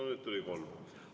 No nüüd tuli kolm.